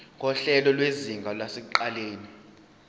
nguhlelo lwezinga lasekuqaleni